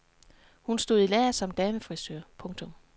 Hun stod i lære som damefrisør. punktum